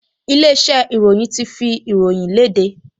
Ilé-iṣẹ́ ìròyìn ti fi ìròyìn le léde